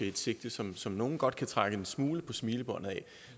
et sigte som som nogle godt kan trække en smule på smilebåndet ad